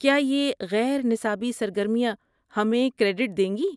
کیا یہ غیر نصابی سرگرمیاں ہمیں کریڈٹ دیں گی؟